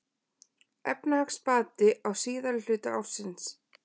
Efnahagsbati á síðari hluta ársins